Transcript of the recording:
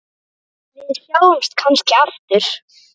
Við sjáumst kannski aftur.